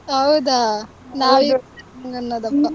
ಹೌದಾ, ನಾವ್ ಅನ್ನೋದಪ್ಪ.